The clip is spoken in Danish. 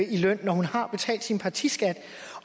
i løn når hun har betalt sin partiskat